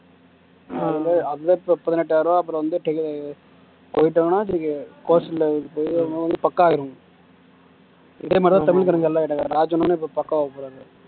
அங்க பதினெட்டாயிரம் ரூபா அப்பறம் வந்து போயிட்டாங்கன்னா வச்சுக்கோ வந்து பக்காவாயிரும் இதே மாதிரிதா தமிழ்காரங்க எல்லா ஆயிட்டாங்க ராஜன் அண்ணனும் இப்போ பக்காவா போறார்